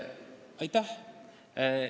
Aitäh!